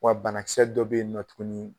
Wa banakisɛ dɔ bɛ yen nɔ tuguni